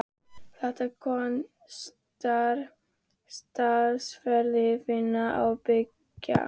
Þetta kostar talsverða vinnu af beggja hálfu.